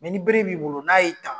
ni bere b'i bolo n'a ye ta.